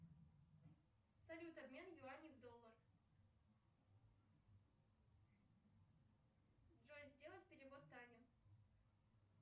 салют обмен юаней в доллар джой сделай перевод тане